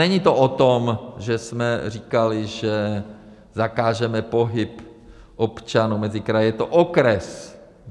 Není to o tom, že jsme říkali, že zakážeme pohyb občanů mezi kraji, je to okres.